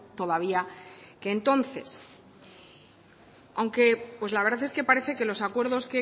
todavía que entonces aunque pues la verdad es que parece que los acuerdos